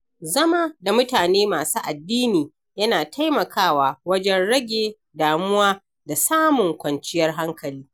Zama da mutane masu addini yana taimakawa wajen rage damuwa da samun kwanciyar hankali.